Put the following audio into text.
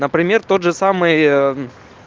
например тот же самый